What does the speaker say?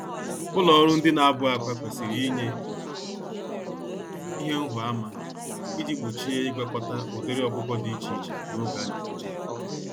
Ụlọ ọrụ ndị nabụ-akwá kwesịrị ịnye ihe nhụ-ama iji gbochie ịgwakọta ụdịrị ọkụkọ dị iche iche n'oge anebuje há.